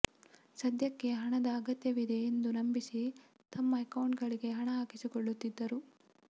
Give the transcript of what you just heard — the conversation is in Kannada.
ಸದ್ಯಕ್ಕೆ ಹಣದ ಅಗತ್ಯವಿದೆ ಎಂದು ನಂಬಿಸಿ ತಮ್ಮ ಅಕೌಂಟ್ಗಳಿಗೆ ಹಣ ಹಾಕಿಸಿಕೊಳ್ಳುತ್ತಿದ್ದರು